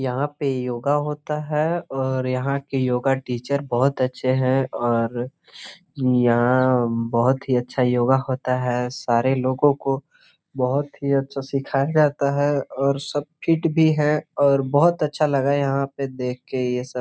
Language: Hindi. यहां पे योगा होता है और यहां के योगा टीचर बहोत अच्छे हैं और यहां बहुत ही अच्छा योगा होता है सारे लोगो को बहोत ही अच्छा सिखाया जाता है और सब फिट भी है और बहुत अच्छा लगा यहां पे देख के यह सब।